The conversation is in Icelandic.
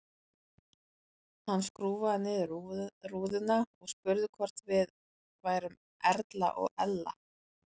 Hann skrúfaði niður rúðuna og spurði hvort við værum Erla og Ella.